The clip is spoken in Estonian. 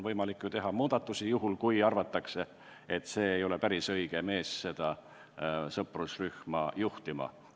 Võimalik on teha ju muudatusi, kui arvatakse, et praegune juht ei ole päris õige mees seda sõprusrühma juhtima.